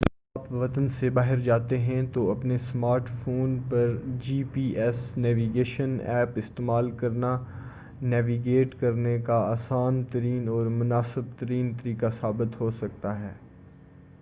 جب اپنے وطن سے باہر جاتے ہیں تو اپنے سمارٹ فون پر G P S navigation app استعمال کرنا نیویگیٹ کرنے کا آسان ترین اور مناسب ترین طریقہ ثابت ہوسکتا ہے